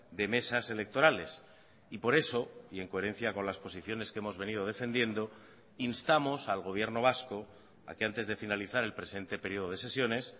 de mesas electorales y por eso y en coherencia con las posiciones que hemos venido defendiendo instamos al gobierno vasco a que antes de finalizar el presente periodo de sesiones